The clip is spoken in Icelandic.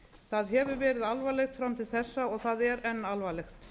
það hefur verið alvarlegt fram til þessa og það er enn alvarlegt